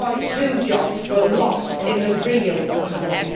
2.2 jobs were lost in the real economy.